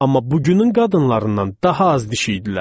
Amma bugünün qadınlarından daha az dişi idilər.